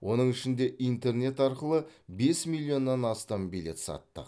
оның ішінде интернет арқылы бес миллионнан астам билет саттық